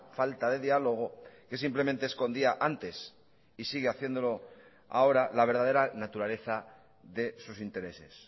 falta de diálogo que simplemente escondía antes y sigue haciéndolo ahora la verdadera naturaleza de sus intereses